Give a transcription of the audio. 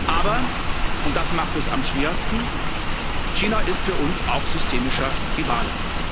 Aber und das macht es am schwersten China ist für uns auch systemischer Rivale.